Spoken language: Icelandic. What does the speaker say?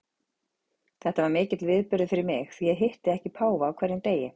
Þetta var mikill viðburður fyrir mig, því ég hitti ekki páfa á hverjum degi.